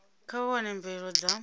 kha vha wane mvelelo dza